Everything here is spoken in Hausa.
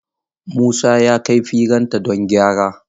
Musa ya kai firinta don gyara.